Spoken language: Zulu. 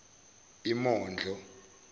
imondlo